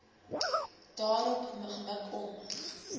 daarop gemik om